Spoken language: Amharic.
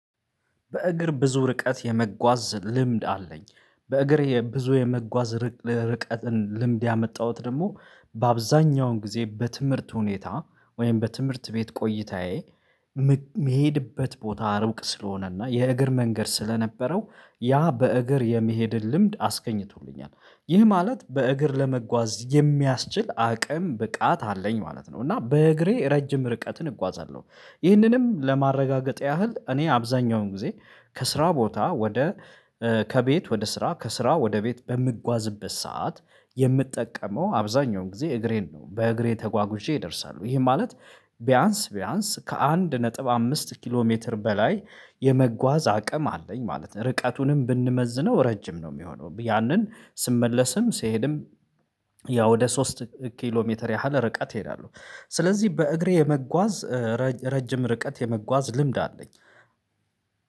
በእግር ብዙ ርቀት የመጓዝ ልምድ አለኝ። በእግር ብዙ የመጓዝ ርቀትን ልምድ ያመጣሁት ደግሞ በአብዛኛውን ጊዜ በትምህርት ሁኔታ ወይም በትምህርት ቤት ቆይታዬ መሄድበት ቦታ ርቅ ስለሆነና የእግር መንገድ ስለነበረው ያ በእግር የመሄድን ልምድ አስገኝቶልኛል፤። ይህ ማለት በእግር ለመጓዝ የሚያስችል አቅም ብቃት አለኝ ማለት ነው እና በእግሬ ረጅም ርቀትን እጓዛለሁ። ይህንንም ለማረጋገጥ ያህል እኔ አብዛኛውን ጊዜ ከስራ ቦታ ወደ ከቤት ወደ ስራ ከስራ ወደ ቤት በምጓዝበት ሰዓት የምጠቀመው አብዛኛውን ጊዜ እግሬን ነው፤። በእግሬ ተጓጉዤ ይደርሳሉ ይሄ ማለት ቢያንስ ቢያንስ ከአንድ ነጥብ አምስት ኪሎ ሜትር በላይ የመጓዝ አቅም አለኝ ማለት ነው። ርቀቱንም ብንመዝነው ረጅም ነው የሚሆነው ያንን ስመለስም ስሄድም ያ ወደ ሶስት ኪሎ ሜትር ያህል ርቀት እሄዳለሁ። ስለዚህ በእግሬ የመጓዝ ረጅም ርቀት የመጓዝ ልምድ አለኝ።